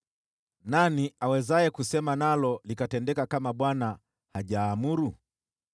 Nani awezaye kusema nalo likatendeka kama Bwana hajaamuru?